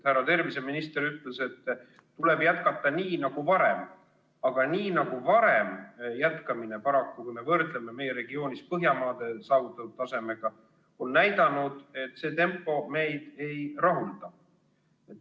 Härra terviseminister ütles, et tuleb jätkata nii nagu varem, aga nii nagu varem jätkamine paraku, kui me võrdleme meie regioonis olevates Põhjamaades saavutatud tasemega, näitab, et see tempo meid ei rahulda.